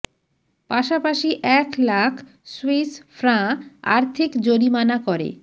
পাশাপাশি এক lakh Swiss franc আর্থিক জরিমানা করে